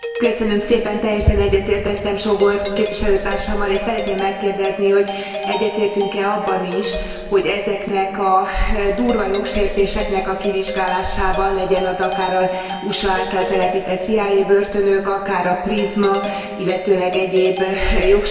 Teljesen egyetértettem Sógor képviselőtársammal és szeretném megkérdezni, hogy egyetértünk e abban is, hogy ezeknek a durva jogsértéseknek a kivizsgálásában, legyen az akár az USA által telepített CIA börtönök, akár a prizma, illetőleg egyéb jogsértések.